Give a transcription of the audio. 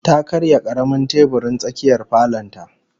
Ta karya karamin teburin tsakiyar falon ta